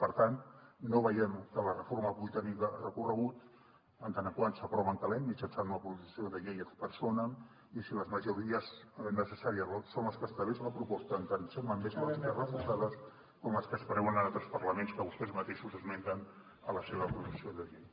per tant no veiem que la reforma pugui tenir recorregut en tant que s’aprova en calent mitjançant una proposició de llei ad personamsón les que estableix la proposta en tant que amb lògiques reforçades com les que es preveuen en altres parlaments que vostès mateixos esmenten a la seva proposició de llei